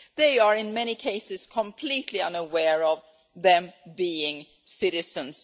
They are, in many cases, completely unaware that they are US citizens.